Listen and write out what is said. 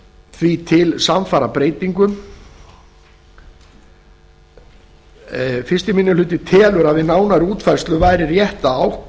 því til samsvarandi breytingu fyrsti minni hluti telur að við nánari útfærslu væri rétt